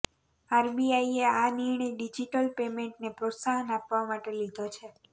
આરબીઆઈએ આ નિર્ણય ડિજટલ પેમેન્ટને પ્રોત્સાહન આપવા માટે લીધો છે